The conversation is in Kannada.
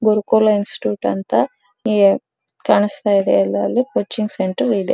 ಗುರುಕುಲ ಇನ್ಸ್ಟಿಟ್ಯೂಟ್ ಅಂತ ಕಾಣಿಸ್ತಾ ಇದೆ ಅಲ್ಲಿ ಎಲ್ಲ ಕೋಚಿಂಗ್ ಸೆಂಟರ್ ಇದೆ .